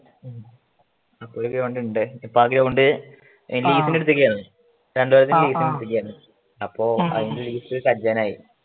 ഇപ്പൊ ഒരു ground ഉണ്ട് ഇപ്പൊ അത് കൊണ്ട് ലീസിന് എടുത്തേക്കും വരുന്നു രണ്ട് വർഷം ലീസിന് എടുത്തേക്കുവാരുന്നു അപ്പൊ അതിൻറ്റെ ലീസ് കഴിയാനായി